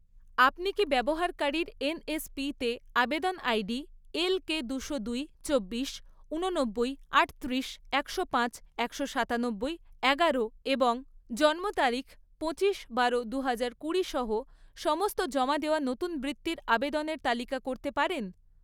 আপনি কি ব্যবহারকারীর এনএসপিতে আবেদন আইডি এলকে দুশো দুই, চব্বিশ, ঊননব্বই, আটত্রিশ, একশো পাঁচ, একশো সাতানব্বই, এগারো এবং জন্ম তারিখ পঁচিশ বারো দুহাজার কুড়ি সহ সমস্ত জমা দেওয়া নতুন বৃত্তির আবেদনের তালিকা করতে পারেন?